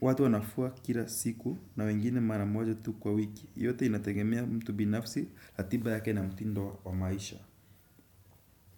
watu wanafuwa kila siku na wengine mara moja tu kwa wiki. Yote inategemea mtu binafsi ratiba yake na mutindo wa maisha.